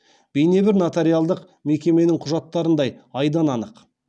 бейнебір нотариалдық мекеменің құжаттарындай айдан анық